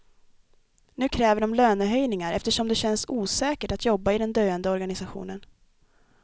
Nu kräver de lönehöjningar, eftersom det känns osäkert att jobba i den döende organisationen.